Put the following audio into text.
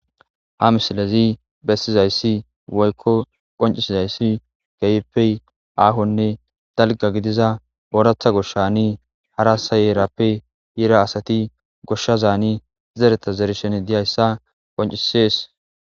Ha milezi besizaysi woyko qoncisizaysi keehippe ahone dalga gidizaysi oratha goshani harasa herappe yida asati zereta zerishi dizaysa qoncises